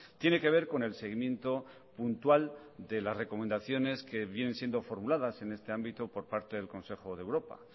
tiene que ver con el seguimiento puntual de las recomendaciones que vienen siendo formuladas en este ámbito por parte del consejo de europa